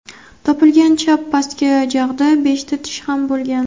Topilgan chap pastki jag‘da beshta tish ham bo‘lgan.